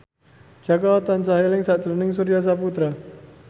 Jaka tansah eling sakjroning Surya Saputra